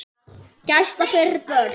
Gæsla fyrir börn.